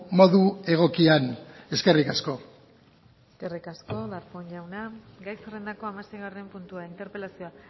modu egokian eskerrik asko eskerrik asko darpón jauna gai zerrendako hamaseigarren puntua interpelazioa